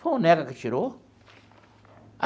Foi o Neca que tirou?